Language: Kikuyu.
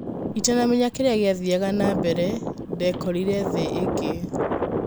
Itanamenya kĩrĩa gĩathiaga na mbere, ndekorĩre ' thĩ ĩngĩ'.